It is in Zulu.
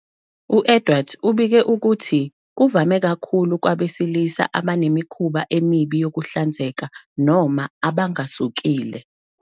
U-Edwards ubike ukuthi kuvame kakhulu kwabesilisa abanemikhuba emibi yokuhlanzeka noma abangasokile.